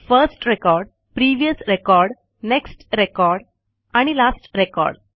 first record previous record next record आणि last record